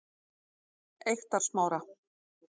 Eyktarsmára